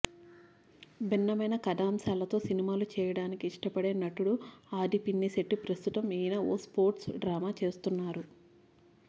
భిన్నమైన కథాంశాలతో సినిమాలు చేయడానికి ఇష్టపడే నటుడు ఆదిపినిశెట్టి ప్రస్తుతం ఈయన ఓ స్పోర్ట్స్ డ్రామా చేస్తున్నారు